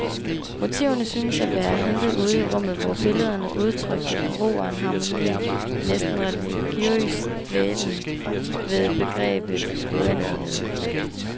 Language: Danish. Motiverne syntes at være hentet ude i rummet, hvor billederne udtrykte en ro og en harmoni, en næsten religiøs dvælen ved begrebet uendelighed.